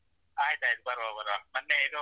ಆಯ್ತು ಆಯ್ತು ಬರುವ ಬರುವ ಮತ್ತೆ ಇದು.